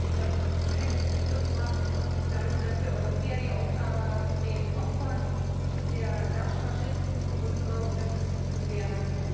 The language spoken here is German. Wenn ich dort eines begriffen habe, dann, dass wir Europäer die Aufgabe haben, den Opfern der Daish Faschisten unsere Unterstützung zu gewähren.